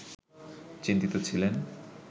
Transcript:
চিন্তিত ছিলেন